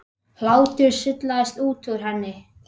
Hlátur sullast út úr henni.